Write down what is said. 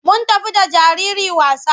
Mun tafi da jariri wasa.